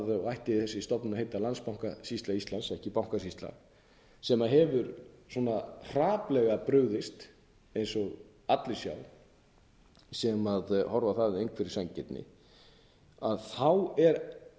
og ætti þessi stofnun að heita landsbankasýsla íslands ekki bankasýsla sem hefur svona hrapallega brugðist eins og allir sjá sem horfa á það af einhverri sanngirni að þá er